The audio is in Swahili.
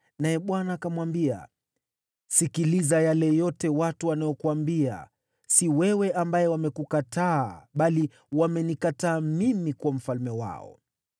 Naye Bwana akamwambia: “Sikiliza yale yote watu wanakuambia. Si wewe ambaye wamekukataa, bali wamenikataa mimi kuwa mfalme wao.